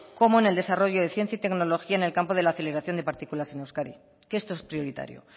como en el desarrollo de ciencia y tecnología en el campo de la aceleración de partículas en euskadi que esto es prioritario